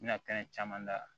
Bɛna caman da